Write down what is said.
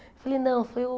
Eu falei, não, foi o...